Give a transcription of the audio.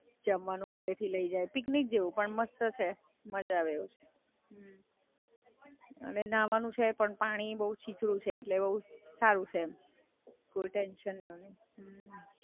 જમવાનું ઘરેથી લઈ જાય, પિકનિક જેવુ પણ મસ્ત છે, મજા આવે એવું છે. અને નાહવાનું છે પણ પાણી બઉ છીછરું છે એટલે બઉ સારું છે એમ. કોઈ ટેન્શન જેવુ નહીં.